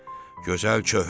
Gözəl çöhrə,